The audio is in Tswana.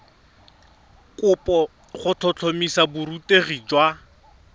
kopo go tlhotlhomisa borutegi jwa